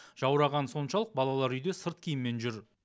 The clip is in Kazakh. жаурағаны соншалық балалар үйде сырт киіммен жүр